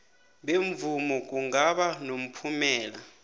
bemvumo kungaba nomphumela